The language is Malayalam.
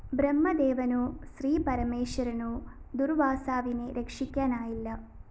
ബ്രഹ്മദേവനോ ശ്രീപരമേശ്വരനോ ദുര്‍വാസാവിനെ രക്ഷിക്കാനായില്ല